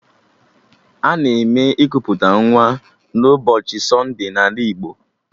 Ana eme ikuputa nwa n'ụbọchị sonde n'ala Igbo